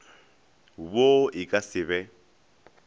wo e ka se be